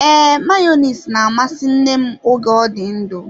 Ee, Mayonezi na-amasị nne m oge ọ dị ndụ.